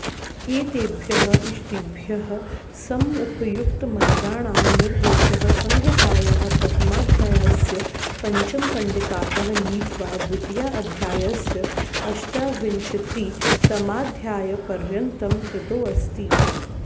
एतेभ्यः इष्टिभ्यः समुपयुक्तमन्त्राणां निर्देशः संहितायाः प्रथमाध्यायस्य पञ्चमकण्डिकातः नीत्वा द्वितीयाध्यायस्य अष्टाविंशतितमाध्यायपर्यन्तं कृतोऽस्ति